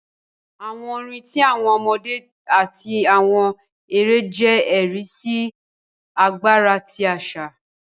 Àwọn orin ti awọn ọmọdé ati awọn èrè jẹ ẹri si agbara ti aṣa.